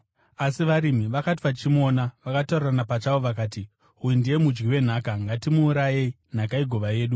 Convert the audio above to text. “Asi varimi vakati vachimuona, vakataurirana pachavo vakati, ‘Uyu ndiye mudyi wenhaka. Ngatimuurayei nhaka igova yedu.’